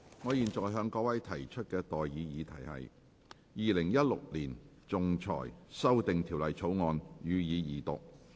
我現在向各位提出的待議議題是：《2016年仲裁條例草案》，予以二讀。